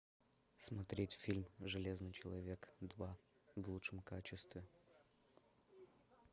смотреть фильм железный человек два в лучшем качестве